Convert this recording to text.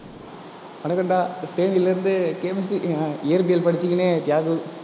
வணக்கம்டா தேனியில இருந்து chemistry அஹ் அஹ் இயற்பியல் படிச்சிக்கின்னு தியாகு